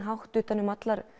hátt um